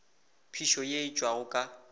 phišo ye e tšwago ka